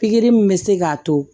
Pikiri min bɛ se k'a to